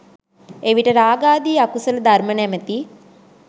එවිට රාගාදී අකුසල ධර්ම නමැති